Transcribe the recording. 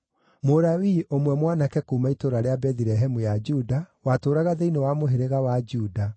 Mũlawii ũmwe mwanake kuuma itũũra rĩa Bethilehemu ya Juda, watũũraga thĩinĩ wa mũhĩrĩga wa Juda,